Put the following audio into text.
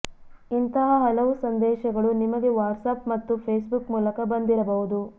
ಇಂತಹ ಹಲವು ಸಂದೇಶಗಳು ನಿಮಗೆ ವಾಟ್ಸಾಪ್ ಮತ್ತು ಫೇಸ್ಬುಕ್ ಮೂಲಕ ಬಂದಿರಬಹುದು